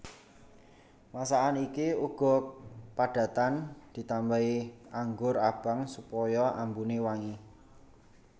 Masakan iki uga padatan ditambahi anggur abang supaya ambune wangi